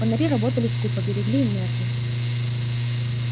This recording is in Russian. фонари работали скупо берегли энергию